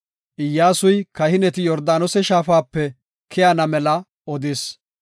Iyyasuy kahineti Yordaanose shaafape keyana mela odis.